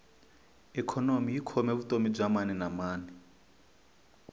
ikhonomi yi khome vutomi bya maninamani